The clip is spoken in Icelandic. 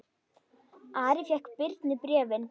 Ari fékk Birni bréfin.